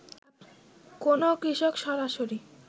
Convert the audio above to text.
কোনো কৃষক সরাসরি